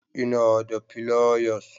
Ina da fliers